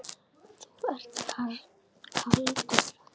Þú ert kaldur!